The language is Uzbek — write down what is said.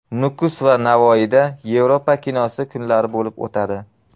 Nukus va Navoiyda Yevropa kinosi kunlari bo‘lib o‘tadi.